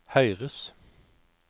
høyres